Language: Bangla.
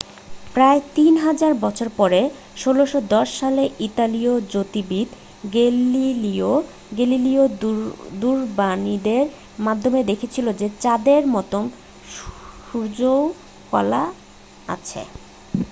প্রায় তিন হাজার বছর পরে 1610 সালে ইতালীয় জ্যোতির্বিদ গ্যালিলিও গ্যালিলি দূরবীনের মাধ্যমে দেখেছিলেন যে চাঁদের মতো সূর্যেরও কলা আছে